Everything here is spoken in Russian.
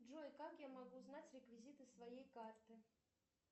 джой как я могу узнать реквизиты своей карты